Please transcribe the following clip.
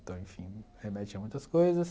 Então, enfim, remete a muitas coisas.